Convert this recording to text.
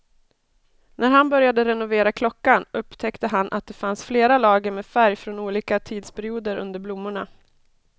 När han började renovera klockan upptäckte han att det fanns flera lager med färg från olika tidsperioder under blommorna.